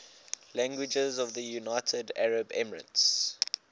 languages of the united arab emirates